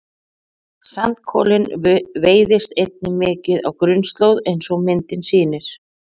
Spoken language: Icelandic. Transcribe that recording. Sandkolinn veiðist einnig mikið á grunnslóð eins og myndin sýnir.